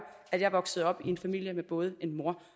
at jeg voksede op i en familie med både en mor